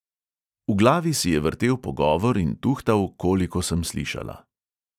V glavi si je vrtel pogovor in tuhtal, koliko sem slišala.